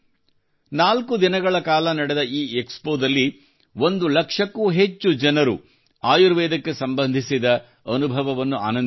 ನಾಲ್ಕು ದಿನಗಳ ಕಾಲ ನಡೆದ ಈ ಎಕ್ಸಪೋದಲ್ಲಿ ಒಂದು ಲಕ್ಷಕ್ಕೂ ಹೆಚ್ಚು ಜನರು ಆಯುರ್ವೇದಕ್ಕೆ ಸಂಬಂಧಿಸಿದ ತಮ್ಮ ಅನುಭವವನ್ನು ಆನಂದಿಸಿದರು